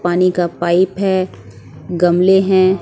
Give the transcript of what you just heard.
पानी का पाइप है गमले हैं।